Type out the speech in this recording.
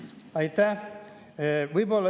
Aitäh!